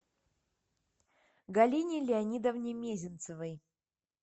галине леонидовне мезенцевой